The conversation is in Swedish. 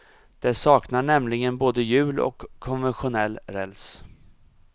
Det saknar nämligen både hjul och konventionell räls.